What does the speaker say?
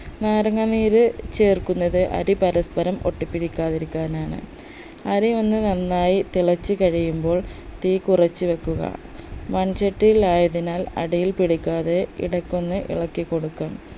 നേരങ്ങ നീര് ചേർക്കുന്നത് അരി പരസ്പരം ഒട്ടിപ്പിടിക്കാതിരിക്കാനാണ് അരി ഒന്ന് നന്നായി തിളച്ച് കഴിയുമ്പോൾ തീകുറച്ച് വെക്കുക മൺചട്ടിയിലായതിനാൽ അടിയിൽ പിടിക്കാതെ ഇടക്കൊന്ന് ഇളക്കി കൊടുക്കണം